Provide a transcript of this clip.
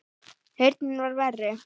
Heyrnin var verri.